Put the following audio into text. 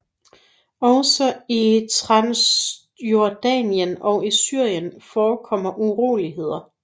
Også i Transjordanien og i Syrien forekommer uroligheder